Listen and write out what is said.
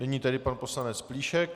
Nyní tedy pan poslanec Plíšek.